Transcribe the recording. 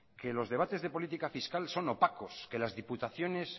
que los debates de política fiscal son opacos que las diputaciones